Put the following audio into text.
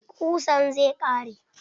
Ƙusan zai ƙare.